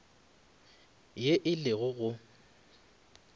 ye e le go go